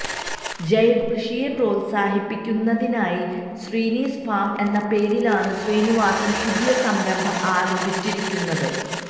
ജൈവ കൃഷിയെ പ്രോത്സാഹിപ്പിക്കുന്നതിനായി ശ്രീനീസ് ഫാം എന്ന പേരിലാണ് ശ്രീനവാസന് പുതിയ സംരംഭം ആരംഭിച്ചിരിക്കുന്നത്